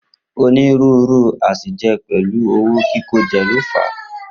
Onírúurú àsèjẹ pẹ̀lú owó kíkójẹ ló fà á.